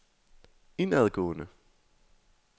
indadgående